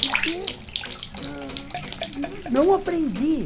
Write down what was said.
Porque ãh... não aprendi.